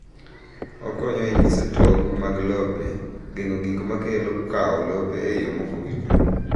Okonyo e nyiso tong’ mag lope, geng’o gik ma kelo kawo lope e yo maokowinjore.